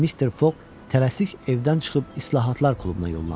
Mister Foq tələsik evdən çıxıb İslahatlar klubuna yollandı.